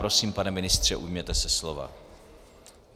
Prosím, pane ministře, ujměte se slova.